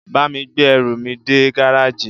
Bá mi gbé ẹrù mi dé gáràjì.